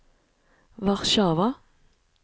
Warszawa